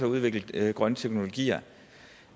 udviklet grønne teknologier